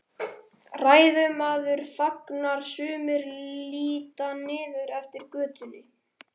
Ræðumaður þagnar, sumir líta niður eftir götunni.